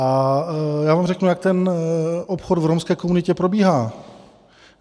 A já vám řeknu, jak ten obchod v romské komunitě probíhá.